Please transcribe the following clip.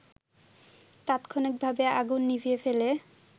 তাৎক্ষণিকভাবে আগুন নিভিয়ে ফেলে